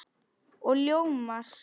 Og ljómar.